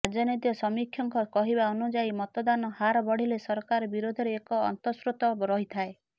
ରାଜନୈତିକ ସମୀକ୍ଷକଙ୍କ କହିବା ଅନୁଯାୟୀ ମତଦାନ ହାର ବଢିଲେ ସରକାର ବିରୋଧରେ ଏକ ଅନ୍ତସ୍ରୋତ ରହିଥାଏ